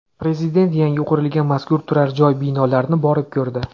Prezident yangi qurilgan mazkur turar-joy binolarini borib ko‘rdi.